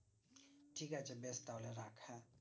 ঠিকআছে বেশ তাহলে রাখ হ্যাঁ